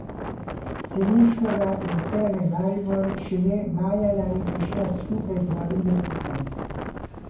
Selinškova je v Terme Maribor šele maja lani prišla skupaj z novim lastnikom.